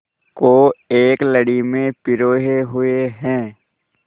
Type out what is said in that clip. को एक लड़ी में पिरोए हुए हैं